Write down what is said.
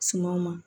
Sumawo ma